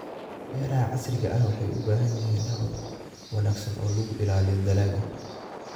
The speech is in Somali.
Beeraha casriga ahi waxay u baahan yihiin habab wanaagsan oo lagu ilaaliyo dalagga.